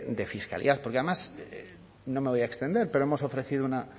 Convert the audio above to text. de fiscalidad porque además no me voy a extender pero hemos ofrecido una